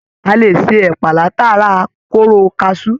A lè ṣe ẹpa látara kóró kasú.